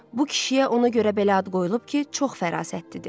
Bu kişiyə ona görə belə ad qoyulub ki, çox fərasətlidir.